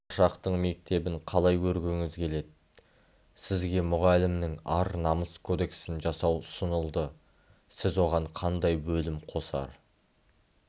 болашақтың мектебін қалай көргіңіз келеді сізге мұғалімнің ар-намыс кодексін жасау ұсынылды сіз оған кандай бөлім қосар